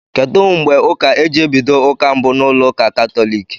Kedụ mgbe ụka eji ebido ụka mbụ na ụlọ ụka katólik?